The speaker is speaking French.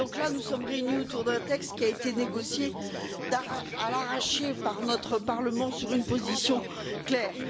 Nous sommes réunis autour d'un texte qui a été négocié à l'arraché par notre Parlement sur une position claire.